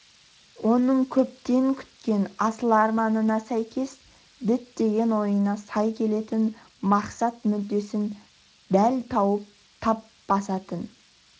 оның көптен күткен асыл арманына сәйкес діттеген ойына сай келетін мақсат-мүддесін дәл тауып тап басатын